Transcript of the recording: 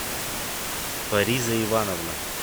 фариза ивановна